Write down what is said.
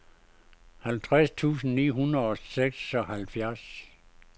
halvtreds tusind ni hundrede og seksoghalvfjerds